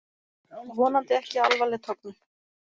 Vonandi ekki alvarleg tognun